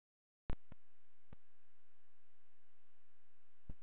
Hann er þá sameiginlegt verkefni fjölskyldunnar.